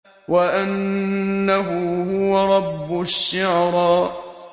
وَأَنَّهُ هُوَ رَبُّ الشِّعْرَىٰ